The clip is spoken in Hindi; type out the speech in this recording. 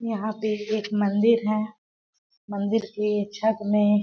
यहां पे एक मंदिर है मंदिर के छत में --